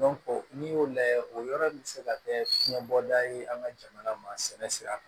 n'i y'o layɛ o yɔrɔ in bɛ se ka kɛ fiyɛnbɔda ye an ka jamana masinɛ sira kan